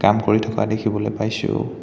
কাম কৰি থকা দেখিবলৈ পাইছোঁ।